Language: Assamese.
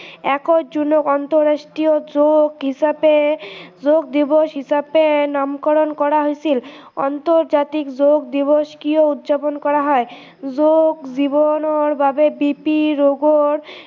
একৈছ জুনক আন্তৰাষ্ট্ৰীয় যোগ হিচাপে যোগ দিৱস হিচাপে নামকৰণ কৰা হৈছিল আন্তৰ্জাতিক যোগ দিৱস কিয় উদযাপন কৰা হয়, যোগ জীৱনৰ বাবে BP ৰোগৰ